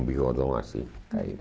Um bigodão assim, caído.